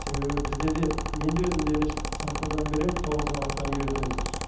себебі бізде де мен де өзім де дене шынықтырудан беремін тоғызқұмалақтан үйретеміз